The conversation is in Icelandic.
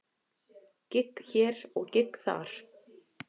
Gigg hér og gigg þar.